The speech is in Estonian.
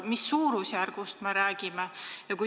Mis suurusjärgust me räägime?